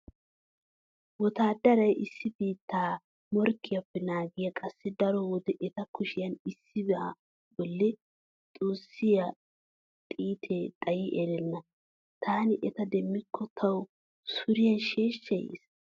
Wotaaddaray issi biitta morkkiyappe naagiya qassi daro wode eta kushiyan issiba bolli xuussiyo xiitee xayi erenna. Taani eta demmikko tawu suriyan sheeshshay yees.